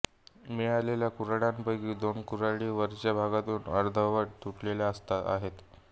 मिळालेल्या कुऱ्हाडींपैकी दोन कुऱ्हाडी वरच्या भागातून अर्धवट तुटलेल्या आहेत